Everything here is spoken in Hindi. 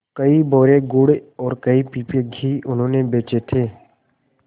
कई बोरे गुड़ और कई पीपे घी उन्होंने बेचे थे